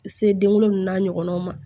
Se den wolonwula n'a ɲɔgɔnaw ma